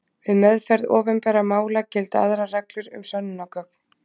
við meðferð opinbera mála gilda aðrar reglur um sönnunargögn